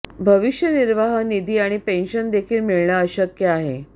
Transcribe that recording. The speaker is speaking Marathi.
भविष्य निर्वाह निधी आणि पेन्शन देखील मिळणे अशक्य आहे